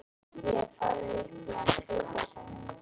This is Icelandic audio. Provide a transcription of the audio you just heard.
Ég hef farið upp í hann tvisvar sinnum.